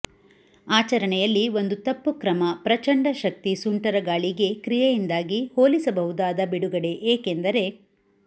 ಆಚರಣೆಯಲ್ಲಿ ಒಂದು ತಪ್ಪು ಕ್ರಮ ಪ್ರಚಂಡ ಶಕ್ತಿ ಸುಂಟರಗಾಳಿಗೆ ಕ್ರಿಯೆಯಿಂದಾಗಿ ಹೋಲಿಸಬಹುದಾದ ಬಿಡುಗಡೆ ಏಕೆಂದರೆ